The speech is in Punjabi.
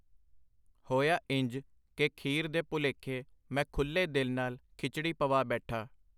ਹੋਇਆ ਇੰਝ ਕਿ ਖੀਰ ਦੇ ਭੁਲੇਖੇ ਮੈਂ ਖੁੱਲੇ ਦਿੱਲ ਨਾਲ ਖਿਚੜੀ ਪਵਾ ਬੈਠਾ.